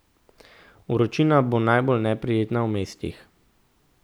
Vročina bo najbolj neprijetna v mestih.